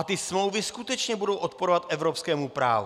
A ty smlouvy skutečně budou odporovat evropskému právu.